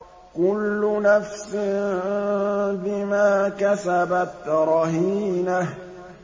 كُلُّ نَفْسٍ بِمَا كَسَبَتْ رَهِينَةٌ